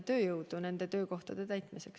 Siim Pohlak, palun!